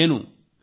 నేను చూస్తాను